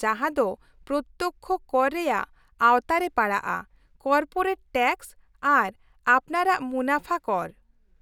ᱡᱟᱦᱟᱸ ᱫᱚ ᱯᱨᱚᱛᱛᱚᱠᱽᱠᱷᱚ ᱠᱚᱨ ᱨᱮᱭᱟᱜ ᱟᱣᱛᱟ ᱨᱮ ᱯᱟᱲᱟᱜᱼᱟ; ᱠᱚᱨᱯᱳᱨᱮᱴ ᱴᱮᱠᱥ ᱟᱨ ᱟᱯᱱᱟᱨᱟᱜ ᱢᱩᱱᱟᱹᱯᱷᱟ ᱠᱚᱨ ᱾